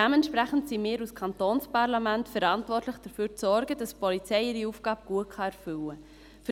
Dementsprechend sind wir als Kantonsparlament verantwortlich, dafür zu sorgen, dass die Polizei ihre Aufgabe gut erfüllen kann.